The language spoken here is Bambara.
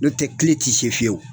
N'o tɛ kile ti se fiyewu